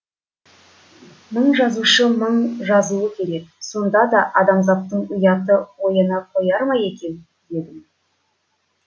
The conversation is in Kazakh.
мың жазушы мың жазуы керек сонда да адамзаттың ұяты ояна қояр ма екен дедім